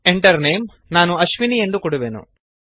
Enter Name ನಾನು ಅಶ್ವಿನಿ ಎಂದು ಕೊಡುವೆನು